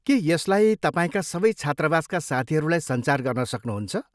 के यसलाई तपाईँका सबै छात्रावासका साथीहरूलाई सञ्चार गर्न सक्नुहुन्छ?